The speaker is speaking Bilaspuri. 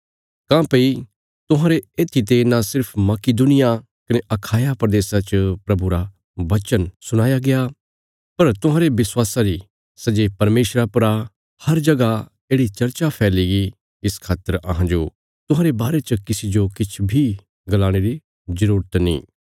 काँह्भई तुहांरे येत्थीते न सिर्फ मकिदुनिया कने अखाया प्रदेशा च प्रभुरा वचन सुणाया गया पर तुहांरे विश्वासा री सै जे परमेशरा पर आ हर जगह येढ़ि चर्चा फैलीगी इस खातर अहांजो तुहांरे बारे च किसी जो किछ बी गलाणे री जरूरत नीं